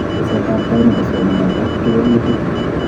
Tesetabtai nebo somanet ak kewelutik